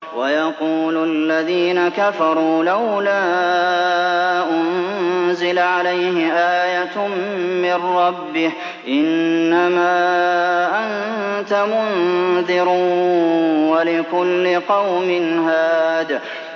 وَيَقُولُ الَّذِينَ كَفَرُوا لَوْلَا أُنزِلَ عَلَيْهِ آيَةٌ مِّن رَّبِّهِ ۗ إِنَّمَا أَنتَ مُنذِرٌ ۖ وَلِكُلِّ قَوْمٍ هَادٍ